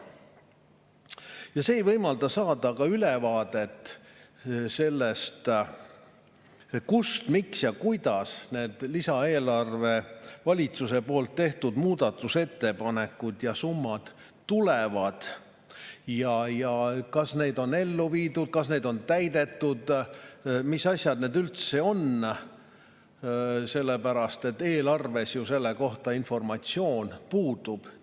See ka ei võimalda saada ülevaadet sellest, kust, miks ja kuidas need eelarve valitsuse tehtud muudatusettepanekud ja summad tulevad ja kas need on ellu viidud, kas need on täidetud, mis asjad need üldse on – eelarves selle kohta informatsioon puudub.